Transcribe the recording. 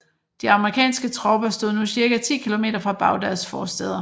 De amerikanske tropper stod nu cirka 10 kilometer fra Bagdads forstæder